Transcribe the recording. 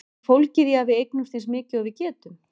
Er það fólgið í að eignast eins mikið og við getum?